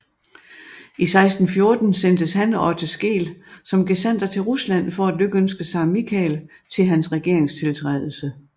I 1614 sendtes han og Otte Skeel som gesandter til Rusland for at lykønske Zar Michael til hans regeringstiltrædelse